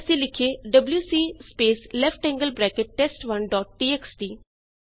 ਜੇ ਅਸੀ ਲਿਖੀਏ WC space left angled bracket space test one dot TXT